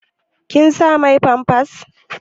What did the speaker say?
Kin sa mai famfas?